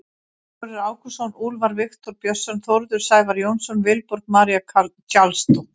Sigurður Ágústsson, Úlfar Viktor Björnsson, Þórður Sævar Jónsson, Vilborg María Carlsdóttir.